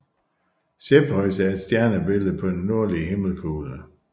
Cepheus er et stjernebillede på den nordlige himmelkugle